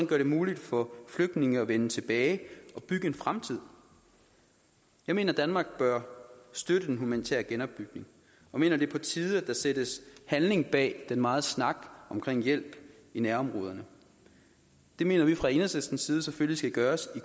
gøre det muligt for flygtninge at vende tilbage og bygge en fremtid jeg mener at danmark bør støtte den humanitære genopbygning og mener det er på tide at der sættes handling bag den megen snak om hjælp i nærområderne det mener vi fra enhedslistens side selvfølgelig skal gøres i